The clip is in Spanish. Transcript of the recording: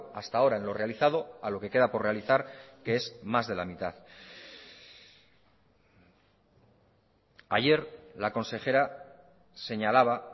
hasta ahora en lo realizado a lo que queda por realizar que es más de la mitad ayer la consejera señalaba